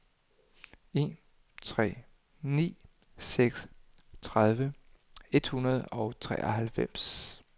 en tre ni seks tredive et hundrede og treoghalvfems